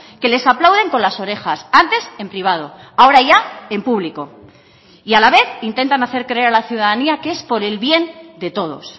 que les aplauden con las orejas antes en privado ahora ya en público y a la vez intentan hacer creer a la ciudadanía que es por el bien de todos